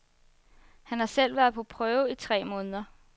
Han har selv været på prøve i tre måneder.